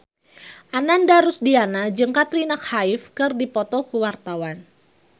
Ananda Rusdiana jeung Katrina Kaif keur dipoto ku wartawan